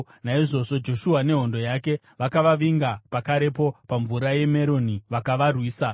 Naizvozvo Joshua nehondo yake vakavavinga pakarepo paMvura yeMeromi vakavarwisa,